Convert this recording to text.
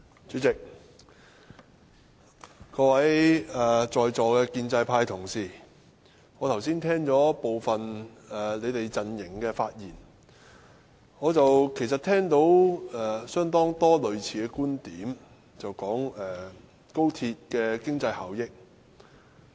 主席，我剛才聽了部分在座建制派同事的發言，聽到相當多類似的觀點，便是談論高鐵的經濟效益。